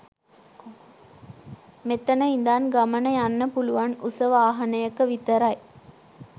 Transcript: මෙතන ඉඳන් ගමන යන්න පුළුවන් උස වාහනයක විතරයි.